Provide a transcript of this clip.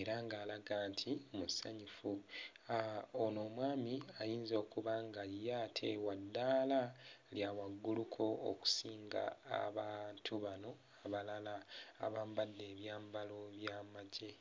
era ng'alaga nti musanyufu, aah ono omwami ayinza okuba nga ye ate wa ddaala lya wagguluko okusinga abantu bano abalala abambadde ebyambalo by'amagye.